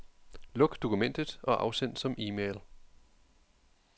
Luk dokumentet og afsend som e-mail.